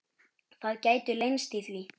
Það gætu leynst í því.